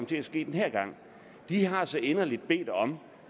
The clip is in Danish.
til at ske den her gang de har så inderligt bedt om